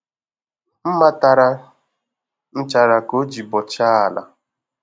Mma tara nchara ka o ji bọchaa ala